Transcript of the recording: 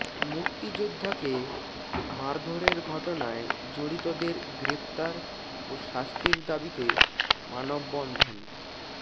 মুক্তিযোদ্ধাকে মারধরের ঘটনায় জড়িতদের গ্রেপ্তার ও শাস্তির দাবিতে মানববন্ধন